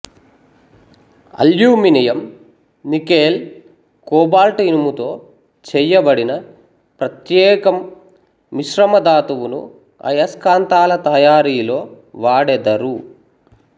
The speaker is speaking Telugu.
అల్యూమినియం నికెల్ కోబాల్ట్ ఇనుముతో చెయ్యబడిన ప్రత్యేకం మిశ్రమ ధాతువును ఆయస్కాంతాల తయారీలో వాడెదరు